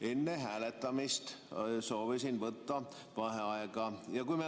Enne hääletamist soovisin võtta vaheaega.